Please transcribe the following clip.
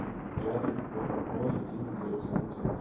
рядом ооо единый миграционный центр